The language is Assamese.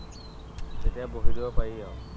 তেতিয়া বহি দিব পাৰি আৰু